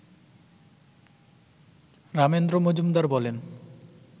রামেন্দ্র মজুমদার বলেন